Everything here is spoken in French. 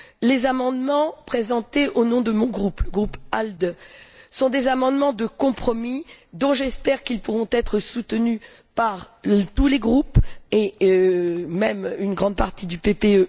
Les amendements présentés au nom de mon groupe le groupe ALDE sont des amendements de compromis qui, j'espère, pourront être soutenus par tous les groupes, et même une grande partie du PPE.